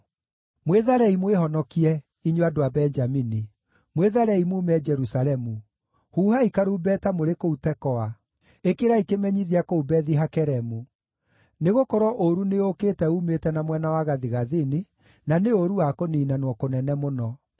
“Mwĩtharei mwĩhonokie, inyuĩ andũ a Benjamini! Mwĩtharei muume Jerusalemu! Huhai karumbeta mũrĩ kũu Tekoa! Ĩkĩrai kĩmenyithia kũu Bethi-Hakeremu! Nĩgũkorwo ũũru nĩũũkĩte uumĩte na mwena wa gathigathini, na nĩ ũũru wa kũniinanwo kũnene mũno.